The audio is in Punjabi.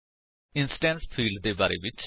ਇੰਸਟੈਂਸ ਫਿਲਡਸ ਦੇ ਬਾਰੇ ਵਿੱਚ